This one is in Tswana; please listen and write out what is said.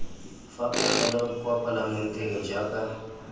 fa pegelo kwa palamenteng jaaka